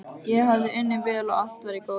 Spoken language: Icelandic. Ég hafði unnið vel og allt var í góðum gír.